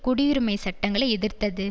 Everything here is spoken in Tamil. குடியுரிமைச் சட்டங்களை எதிர்த்தது